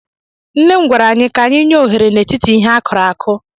Nne m gwara anyị ka anyị nyeohere n'etiti ihe a kụrụ akụ.